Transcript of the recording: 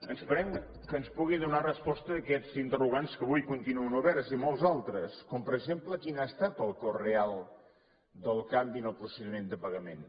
esperem que ens pugui donar resposta a aquests interrogants que avui continuen oberts i molts d’altres com per exemple quin ha estat el cost real del canvi en el procediment de pagament